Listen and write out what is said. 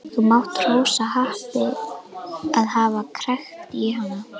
Þú mátt hrósa happi að hafa krækt í hana.